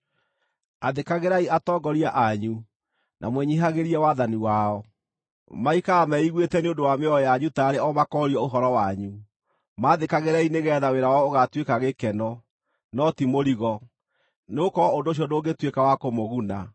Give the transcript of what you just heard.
Athĩkagĩrai atongoria anyu, na mwĩnyiihagĩrie wathani wao. Maikaraga meiguĩte nĩ ũndũ wa mĩoyo yanyu taarĩ o makoorio ũhoro wanyu. Maathĩkagĩrei nĩgeetha wĩra wao ũgatuĩka gĩkeno, no ti mũrigo, nĩgũkorwo ũndũ ũcio ndũngĩtuĩka wa kũmũguna.